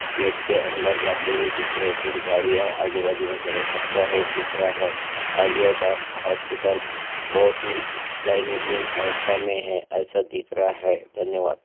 गेट के अंदर जाते हुए दिख रहे है कुछ गाड़ियां है आजू-बाजू में खड़े कच्चा रोड दिख रहा है और ये द हॉस्पिटल बहुत ही दिन अवस्था में है ऐसा दिख रहा है धन्यवाद।